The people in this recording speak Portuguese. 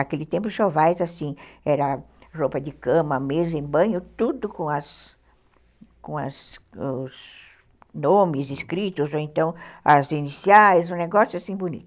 Aquele tempo, os enxovais, assim, eram roupas de cama, mesa e banho, tudo com os nomes escritos, ou então as iniciais, um negócio assim bonito.